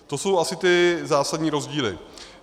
To jsou asi ty zásadní rozdíly.